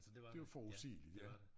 Det var forudsigeligt ja